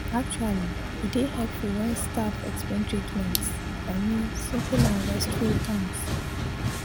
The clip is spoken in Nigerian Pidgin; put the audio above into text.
actually e dey hepful wen staf explain treatments i min simple and respectful terms